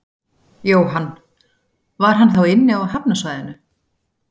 Jóhann: Var hann þá inni á hafnarsvæðinu?